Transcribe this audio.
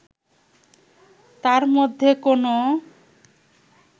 তার মধ্যে কোনো